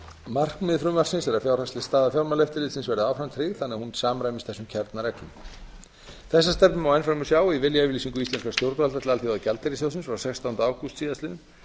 markmið frumvarpsins er að fjárhagsleg staða fjármálaeftirlitinu verði áfram tryggð þannig að hún samræmist þessum kjarnareglum þessa stefnu má enn fremur sjá í viljayfirlýsingu íslenskra stjórnvalda til alþjóðagjaldeyrissjóðsins frá sextánda ágúst síðastliðnum